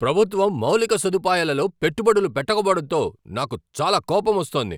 ప్రభుత్వం మౌలిక సదుపాయాలలో పెట్టుబడులు పెట్టకపోవడంతో నాకు చాలా కోపమొస్తోంది.